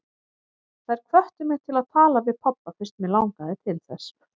Þær hvöttu mig til að tala við pabba fyrst mig langaði til þess.